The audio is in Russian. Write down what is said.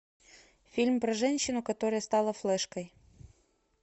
фильм про женщину которая стала флешкой